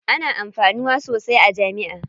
Ana amfanuwa sosai a jami'a.